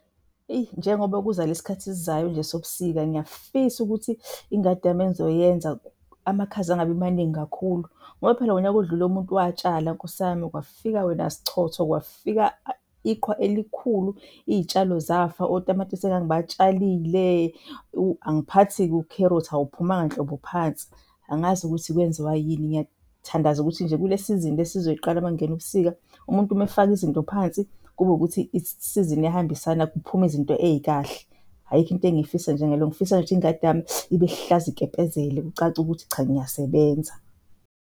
Eyi, njengoba kuza le sikhathi esizayo nje sobusika ngiyafisa ukuthi ingadi yami engizoyenza amakhaza angabi maningi kakhulu ngoba phela ngonyaka odlule umuntu watshala nkosi yami kwafika wena sichotho, kwafika iqhwa elikhulu iy'tshalo zafa, otamatisi engangibatshalile. Angiphathi-ke ukherothi awuphumanga nhlobo phansi, angazi ukuthi kwenziwa yini. Ngiyathandaza ukuthi nje kule sizini esizoyiqala makungena ubusika, umuntu uma efaka izinto phansi kube ukuthi isizini iyahambisana kuphume izinto ey'kahle. Ayikho into engifisa njengaleyo, ngifisa ingadi yami ibe lihlaza ikepezele kucace ukuthi cha, ngiyasebenza.